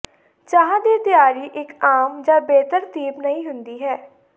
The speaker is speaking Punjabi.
ਚਾਹ ਦੀ ਤਿਆਰੀ ਇੱਕ ਆਮ ਜਾਂ ਬੇਤਰਤੀਬ ਨਹੀਂ ਹੁੰਦੀ ਹੈ